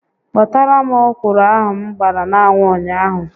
Kpotara m ọkwụrụ ahụ m gbara n'anwụ ụnyaahụ